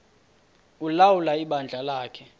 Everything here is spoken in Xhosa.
ulawula ibandla lakhe